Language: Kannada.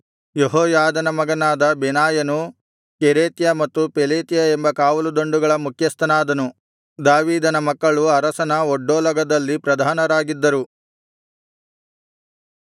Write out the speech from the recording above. ಯೆಹೋಯಾದನ ಮಗನಾದ ಬೆನಾಯನು ಕೆರೇತ್ಯ ಮತ್ತು ಪೆಲೇತ್ಯ ಎಂಬ ಕಾವಲುದಂಡುಗಳ ಮುಖ್ಯಸ್ಥನಾದನು ದಾವೀದನ ಮಕ್ಕಳು ಅರಸನ ಒಡ್ಡೋಲಗದಲ್ಲಿ ಪ್ರಧಾನರಾಗಿದ್ದರು